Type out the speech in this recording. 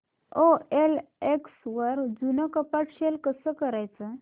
OLX वर जुनं कपाट सेल कसं करायचं